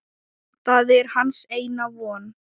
Það er hans eina von.